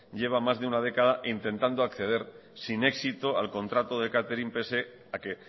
lleva más de un década intentado acceder sin éxito al contrato de catering pese a que